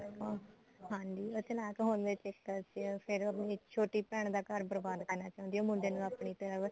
ਅਹ ਹਾਂਜੀ ਵੈਸੇ ਨਾ ਕਰਵਾਉਣ ਦੇ ਚੱਕਰ ਚ ਫ਼ੇਰ ਛੋਟੀ ਭੈਣ ਦਾ ਘਰ ਬਰਬਾਦ ਕਰਨਾ ਚਾਹੁੰਦੀ ਐ ਉਹ ਮੁੰਡੇ ਨੂੰ ਆਪਣੀ ਤਰਫ਼